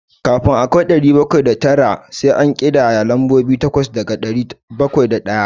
Kafin a kai ɗari bakwai da tara, sai an ƙidaya lambobi takwas daga ɗari bakwai da ɗaya.